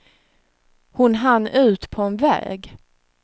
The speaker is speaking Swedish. Hon hann ut på en väg.